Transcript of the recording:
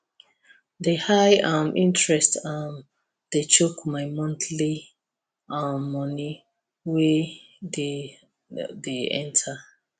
the high um interest um dey choke my monthly um money wey dey dey enter